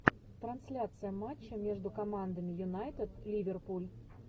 трансляция матча между командами юнайтед и ливерпуль